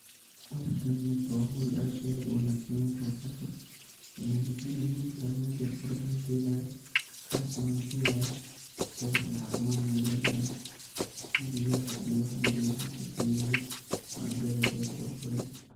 Hooshan horta waa hool aad iyo aad uwanagsan in laga qeyb qaato, waxaayna muhiim utahay ani ahaan teey qibrad ayaan kahelaaya, qarash neh waan kahelaaya, teeda kalena cafimaad neh waay ledahay, biyaha iyo wax waliba wax lasifeeye weye, waana beer aad iyo aad uqurux badan.